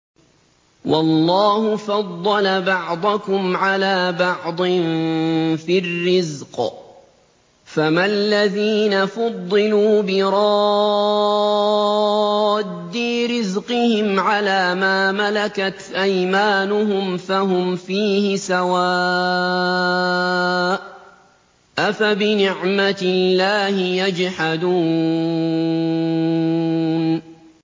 وَاللَّهُ فَضَّلَ بَعْضَكُمْ عَلَىٰ بَعْضٍ فِي الرِّزْقِ ۚ فَمَا الَّذِينَ فُضِّلُوا بِرَادِّي رِزْقِهِمْ عَلَىٰ مَا مَلَكَتْ أَيْمَانُهُمْ فَهُمْ فِيهِ سَوَاءٌ ۚ أَفَبِنِعْمَةِ اللَّهِ يَجْحَدُونَ